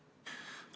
Palun!